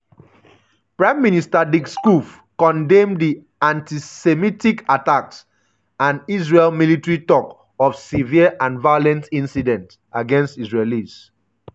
prime minister dick schoof condemn di "antisemitic attacks" and israel military tok of "severe um and violent incidents against israelis".